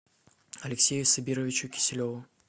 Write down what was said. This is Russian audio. алексею сабировичу киселеву